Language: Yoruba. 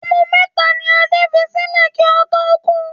Ọmọ mẹ́ta ni Adé fi sílẹ̀ kí ó tó kú.